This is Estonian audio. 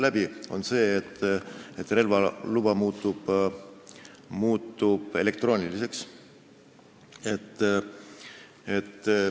See on see, et relvaluba muutub elektrooniliseks.